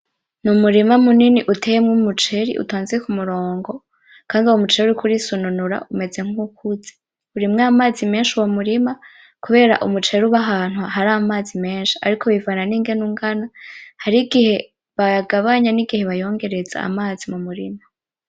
Ni umurima munini uteyemwo umuceri utonze ku murongo. Kandi uwo muceri uriko urisununura umeze nk'uwukuze. Urimwo amazi menshi uwo murima kubera umuceri uba ahantu hari amazi menshi. Ariko bivana n'ingene ungana. Harigihe bayagabanya n'igihe bayongereza amazi mu murima.